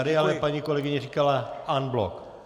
Tady ale paní kolegyně říkala en bloc.